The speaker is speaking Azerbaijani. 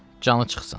Canı çıxsın.